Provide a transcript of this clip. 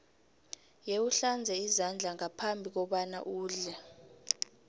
yewuhlanze izandla ngaphambi kobana udle